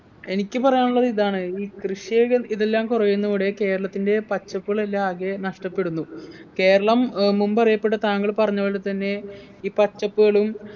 എനിക്ക് പറയാനുള്ളത് ഇതാണ് ഇ കൃഷിയെകൾ ഇതെല്ലാം കുറയുന്നതോടെ കേരളത്തിൻ്റെ പച്ചപ്പുകളെല്ലാം ആകെ നഷ്ടപ്പെടുന്നു കേരളം ഏർ മുമ്പറിയപ്പെട്ട താങ്കൾ പറഞ്ഞ പോലെത്തന്നെ ഈ പച്ചപ്പുകളും